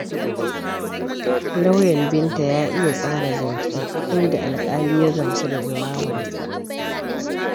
Lauyan Binta ya iya tsara zance, inda alƙali ya gamsu da jawabansa.